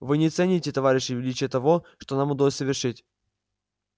вы не цените товарищи величие того что нам удалось совершить